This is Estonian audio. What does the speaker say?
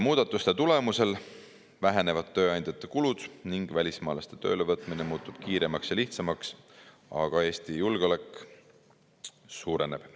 Muudatuste tulemusel vähenevad tööandjate kulud ning välismaalaste töölevõtmine muutub kiiremaks ja lihtsamaks, aga Eesti julgeolek suureneb.